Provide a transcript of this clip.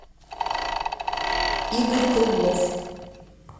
игорь круглов